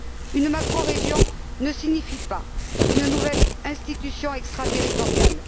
Une macrorégion ne signifie pas une nouvelle institution extraterritoriale.